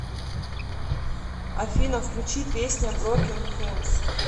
афина включи песня брокен хэндс